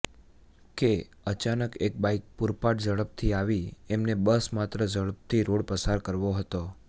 કે અચાનક એક બાઇક પુરપાટ ઝડપથી આવી એમને બસ માત્ર ઝડપથી રોડ પસાર કરવો હતો